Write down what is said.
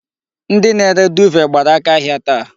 Ndi na-ere duuve gbara aka ahia taa.